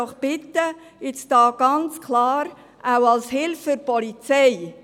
Ich bitte Sie etwas zu tun, auch als Hilfe für die Polizei.